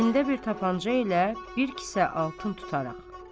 Əlində bir tapanca ilə bir kisə altın tutaraq.